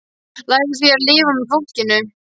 Lærðu því að lifa með fólkinu.